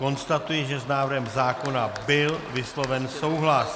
Konstatuji, že s návrhem zákona byl vysloven souhlas.